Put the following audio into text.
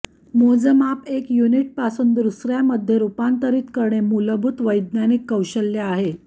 मोजमाप एक युनिट पासून दुसऱ्यामध्ये रूपांतरित करणे मूलभूत वैज्ञानिक कौशल्य आहे